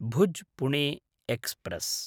भुज्–पुणे express